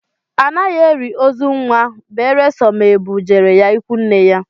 Anaghị eli ozu nnwa nnwa beresọ ma e bu jere ya ikwu nne ya